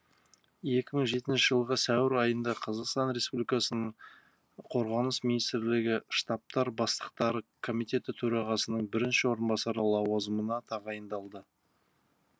екі мың жетінші жылғы сәуір айында қазақстан республикасының қорғаныс министрлігі штабтар бастықтары комитеті төрағасының бірінші орынбасары лауазымына тағайындалды